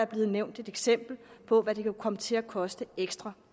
blevet nævnt et eksempel på hvad det kan komme til at koste ekstra